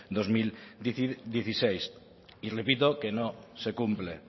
dos mil dieciséis y repito que no se cumple